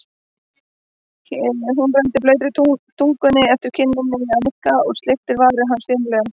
Hún renndi blautri tungunni eftir kinninni á Nikka og sleikti varir hans fimlega.